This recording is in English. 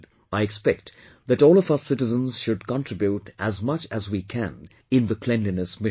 I expect that all of us citizens should contribute as much as we can in the cleanliness mission